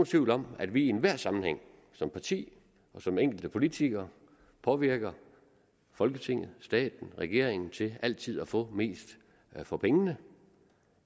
tvivl om at vi i enhver sammenhæng som parti og som enkelte politikere påvirker folketinget staten regeringen til altid at få mest for pengene